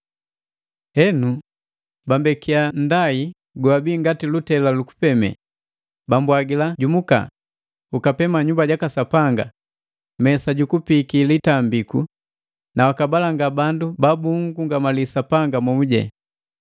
Henu, bambekiya nndai gowabii ngati lutela lu kupeme, bambwagila, “Jumuka, ukapema nyumba jaka Sapanga, mesa ju kupiki litambiku na waka abalanga bandu ba bugungamali Sapanga momu.